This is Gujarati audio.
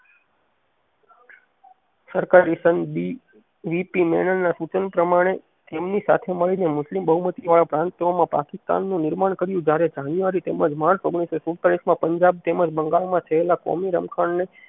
સરકાર ના સૂચન પ્રમાણે તેમની સાથે મળીને મુસ્લિમ બહુમતી વાંહે પ્રાંતોમાં પાકિસ્તાન નું નીર્માણ કર્યું જેયારે January તેમજ March ઓગણીસો સુડતાલીસ માં પંજાબ તમેજ બંગાળમાં થેયેલા કોમી રમખળ ને